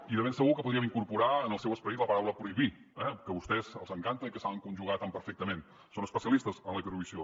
i de ben segur que podríem incorporar en el seu esperit la paraula prohibir eh que a vostès els encanta i que saben conjugar tan perfectament són especialistes en la prohibició